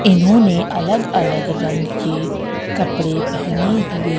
इन्होने अलग अलग रंग के कपड़े पहने हुए--